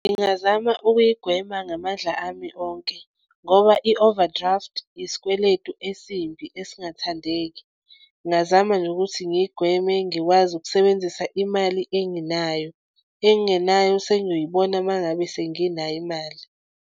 Ngingazama ukuyigwema ngamandla ami onke ngoba i-overdraft isikweletu esimbi esingathandeki. Ngingazama nje ukuthi ngiyigweme, ngikwazi ukusebenzisa imali enginayo engingenayo sengiyibona uma ngabe senginayo imali.